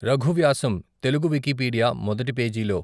రఘు వ్యాసం తెలుగు వికీపీడియా మొదటి పేజీలో.